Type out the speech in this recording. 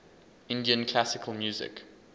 indian classical music